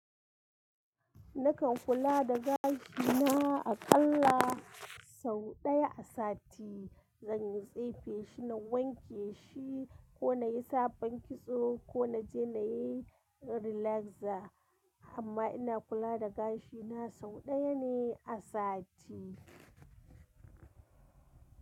Nakan kula da gashina aƙalla sau ɗaya a sati. Zan yi tsefe shi na wanke shi ko na yi sabon kitso ko na je na yi relaxer. Amma ina kula da gashina sau ɗaya ne a sati.